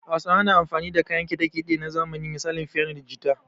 Hausawa na amfani da kayan kiɗa kiɗe na zamani misali fiyano da jita